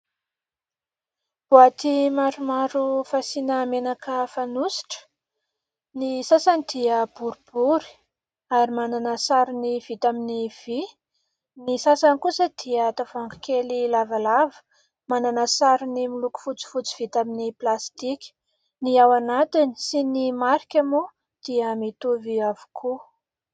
Boaty maromaro fasiana menaka fanositra. Ny sasany dia boribory ary manana sarony vita aminy vỳ, ny sasany kosa dia tavoahangy kely lavalava manana sarony miloko fotsifotdy vita aminy plastika. Ny ao anatiny sy ny marika moa dia mitovy avokoa.